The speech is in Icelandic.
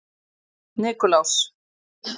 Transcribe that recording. Nikulás